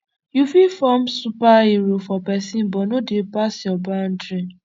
yu fit form superhero for pesin but no dey pass yur bandry